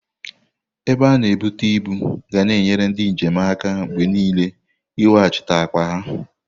Ebe a na-ebutu ibu ga na enyere ndị njem aka mgbe niile iweghachite akpa ha.